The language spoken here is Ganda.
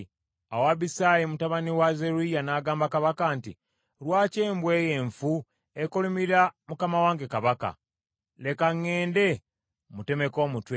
Awo Abisaayi mutabani wa Zeruyiya n’agamba kabaka nti, “Lwaki embwa eyo enfu ekolimira mukama wange kabaka? Leka ŋŋende mmutemeko omutwe.”